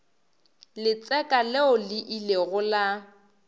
letseka leo le ilego la